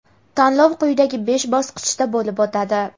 tanlov quyidagi besh bosqichda bo‘lib o‘tadi:.